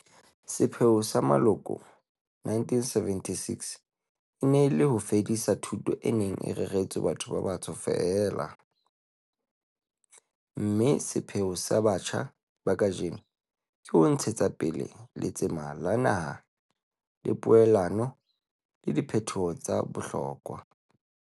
Sepheo sa moloko wa 1976 e ne e le ho fedisa thuto e neng e reretswe batho ba batsho feela, mme sepheo sa batjha ba kajeno ke ho ntshetsa pele letsema la naha la poelano le diphetoho tsa bohlokwa.